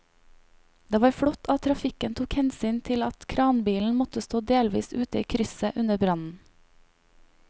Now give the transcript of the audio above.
Det var flott at trafikken tok hensyn til at kranbilen måtte stå delvis ute i krysset under brannen.